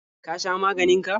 Ka sha maganin ka?